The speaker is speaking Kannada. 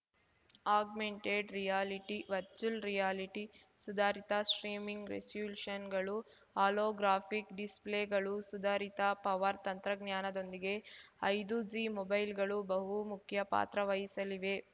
ಆಗ್ಮೆಂಟೆಡ್‌ ರಿಯಾಲಿಟಿ ವರ್ಚುವಲ್‌ ರಿಯಾಲಿಟಿ ಸುಧಾರಿತ ಸ್ಟ್ರೀಮಿಂಗ್‌ ರೆಸಲ್ಯೂಶನ್‌ಗಳು ಹೋಲೋಗ್ರಾಫಿಕ್‌ ಡಿಸ್‌ಪ್ಲೇಗಳು ಸುಧಾರಿತ ಪವರ್ ತಂತ್ರಜ್ಞಾನಗೊಂದಿಗೆ ಐದುಜಿ ಮೊಬೈಲ್‌ಗಳು ಬಹು ಮುಖ್ಯ ಪಾತ್ರ ವಹಿಸಲಿವೆ